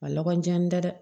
A lakɔlijan n tɛ dɛ